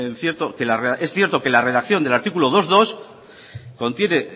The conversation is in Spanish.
es cierto que la redacción del artículo dos punto dos contiene